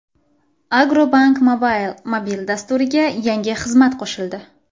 Agrobank Mobile mobil dasturiga yangi xizmat qo‘shildi.